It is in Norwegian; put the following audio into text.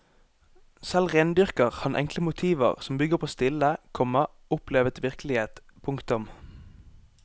Selv rendyrker han enkle motiver som bygger på stille, komma opplevet virkelighet. punktum